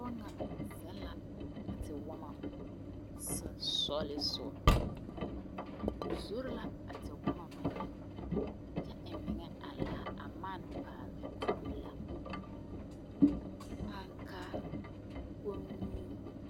Pɔgɔ naŋ zeŋ la a tewɔmɔ susugleŋsuo. O zore la a tewɔmɔ mene. Kyɛ eŋ mene a laa a mane paale a kooko laa. Ankaa, kommie